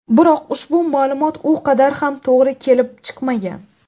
Biroq ushbu ma’lumot u qadar ham to‘g‘ri bo‘lib chiqmagan.